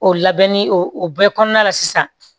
O labɛnni o o bɛɛ kɔnɔna la sisan